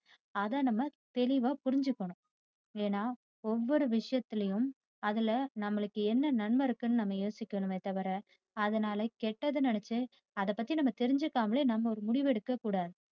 அத நம்ம தெளிவா புரிஞ்சிக்கணும். ஏன்னா ஒவ்வொரு விஷயத்திலும் அதுல நம்மளுக்கு என்ன நன்மை இருக்குனு நம்ம யோசிக்கணுமே தவிர அதுனால கெட்டதை நினைச்சு அத பத்தி நம்ம தெரிஞ்சுக்காமலே நம்ம ஒரு முடிவு எடுக்க கூடாது.